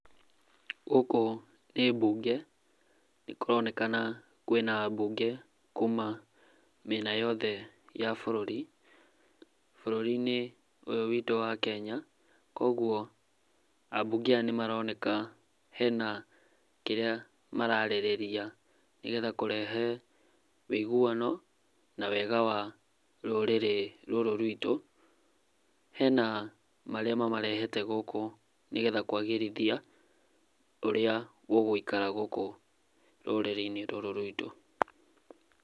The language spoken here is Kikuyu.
Gũkũ nĩ mbunge nĩkũronekana kwĩna ambunge kuma mĩena yothe ya bũrũri, bũrũri-inĩ ũyũ witũ wa Kenya, koguo ambunge aya nĩ maroneka hena kĩrĩa mararĩrĩria nĩgetha kũrehe wiguano na wega wa rũrĩrĩ rũrũ rwitũ, hena marĩa mamarehete gũkũ nĩgetha kũagĩrithia ũrĩa gũgũikara gũkũ rũrĩrĩ-inĩ rũrũ rwitũ.